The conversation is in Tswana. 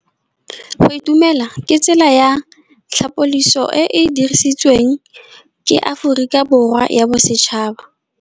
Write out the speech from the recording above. Go itumela ke tsela ya tlhapolisô e e dirisitsweng ke Aforika Borwa ya Bosetšhaba.